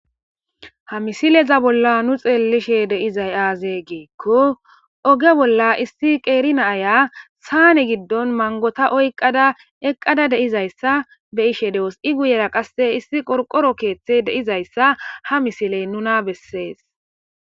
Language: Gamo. ha misileza bolla nu xeellishe deizay aaze geekko oge bolla issi qeerina aya saane giddon mangota oyqada eqqada deizayssa be ishe dewos i guyera qasse issi qorqoro keeththe deizayssa ha misiley nuna bessees